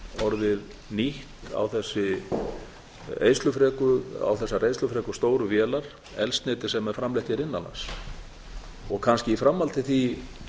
orðið nýtt á þessar eyðslufreku stóru vélar eldsneyti sem er framleitt hér innan lands og kannski í framhaldi af því